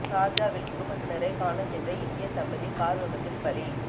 சார்ஜாவில் குடும்பத்தினரை காணச் சென்ற இந்திய தம்பதி கார் விபத்தில் பலி